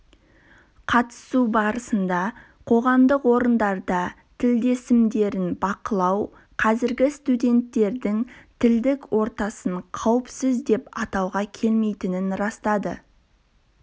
қатысу барысында қоғамдық орындарда тілдесімдерін бақылау қазіргі студенттердің тілдік ортасын қауіпсіз деп атауға келмейтінін растады